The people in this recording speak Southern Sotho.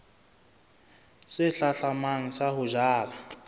se hlahlamang sa ho jala